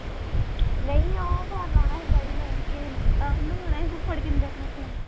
ਨਹੀਂ ਉਹ phone ਲਾਉਣਾ ਸੀ daddy ਨੇ ਕਿਸੇ ਨੂੰ, ਉਹਨੂੰ ਲਾਉਣਾ ਸੀ ਫੁੱਫੜ ਕਿੰਦਰ ਨੂੰ phone